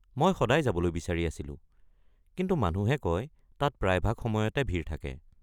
মই সদায় যাবলৈ বিচাৰি আছিলো, কিন্তু মানুহে কয় তাত প্ৰায়ভাগ সময়তে ভিৰ থাকে।